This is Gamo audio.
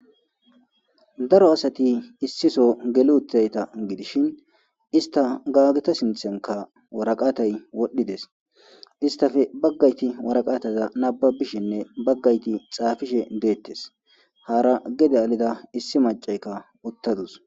Daro asati issiso gelu utayta gidishin ista gaageta sinthenka waraqatay wodhdhides istafe baggayti waraqataza nababishinne baggayti xaafishe deettes haara gede alida issi macaykka uttadus.